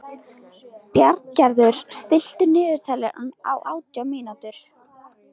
Bjarngerður, stilltu niðurteljara á átján mínútur.